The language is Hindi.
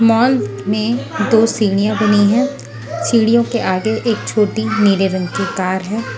मान में दो सीढ़ियां बनी है सीढ़ियों के आगे एक छोटी नीले रंग की कार है।